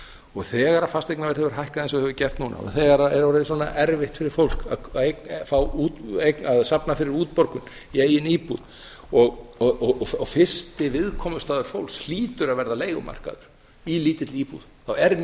og þegar fasteignaverð hefur hækkað eins og það hefur gert núna og þegar það er orðið svona erfitt fyrir fólk að safna fyrir útborgun í eigin íbúð og fyrsti viðkomustaður fólks hlýtur að verða leigumarkaður í lítilli íbúð þá er